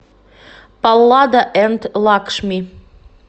паллада энд лакшми